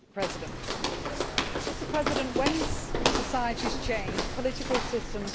Mr President, when societies change, political systems need to change too.